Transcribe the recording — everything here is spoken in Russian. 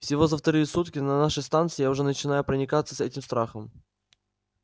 всего за вторые сутки на вашей станции я уже начинаю проникаться этим страхом